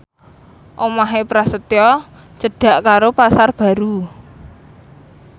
omahe Prasetyo cedhak karo Pasar Baru